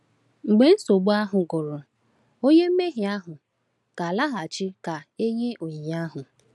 Mgbe nsogbu ahụ gwụrụ, onye mmehie ahụ ga-alaghachi ka e nye onyinye ahụ.